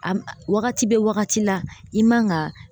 A wagati bɛ wagati la i man ka